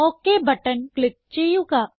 okay button click ചെയ്യുക